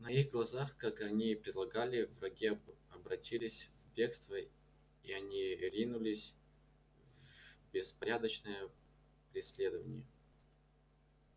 на их глазах как они и предполагали враги обратились в бегство и они ринулись в беспорядочное преследование